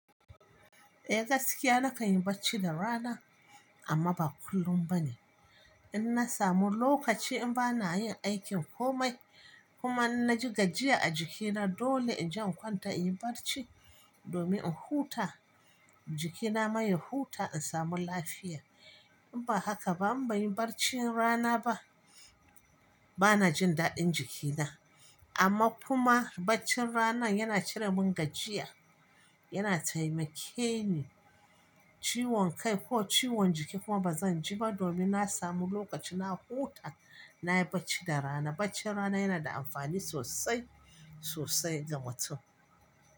Eh gaskiya nakan yi barci da rana amma ba kullum ba ne. In na samu lokaci in ba na yin aikin komai kuma in na ji gajiya a jikina dole in je in kwanta in yi barci domin in huta jikina maye huta in samu lafiya. In ba haka ba in ba yin barcin rana ba bana jin daɗin jikina. Amma kuma baccin rana yana cire min gajiya, yana taimake ni ciwon kai ko ciwon jiki kuma ba zan ji ba domin na samu lokaci na huta na yi barci da rana. Baccin rana yana da amfani sosai, sosai da matsu.